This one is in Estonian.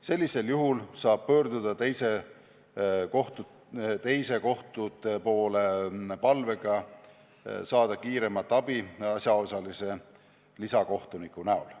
Sellisel juhul saab pöörduda teiste kohtute poole palvega saada kiiremat abi asjaosalise lisakohtuniku näol.